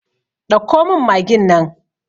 Ɗauko min magin nan!